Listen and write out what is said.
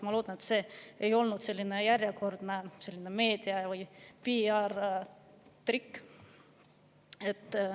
Ma loodan, et see ei olnud järjekordne meedia‑ või PR‑trikk.